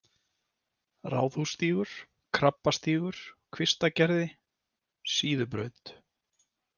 Ráðhússtígur, Krabbastígur, Kvistagerði, Síðubraut